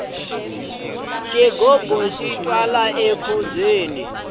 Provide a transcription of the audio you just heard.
xigubu xi twala enkhubyeni